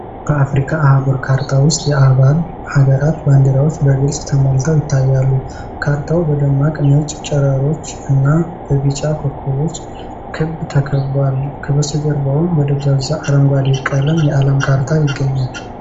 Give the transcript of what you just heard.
በአፍሪካ አህጉር ካርታ ውስጥ የአባል ሀገራት ባንዲራዎች በግልፅ ተሞልተው ይታያሉ። ካርታው በደማቅ ነጭ ጨረሮች እና በቢጫ ኮከቦች ክብ ተከብቧል፤ ከበስተጀርባም በደብዛዛ አረንጓዴ ቀለም የዓለም ካርታ ይገኛል።